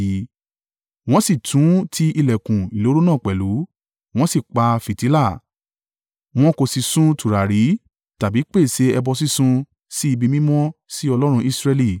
Wọ́n sì tún ti ìlẹ̀kùn ìloro náà pẹ̀lú, wọ́n sì pa fìtílà. Wọn kò sì sun tùràrí tàbí pèsè ẹbọ sísun si ibi mímọ́ si Ọlọ́run Israẹli.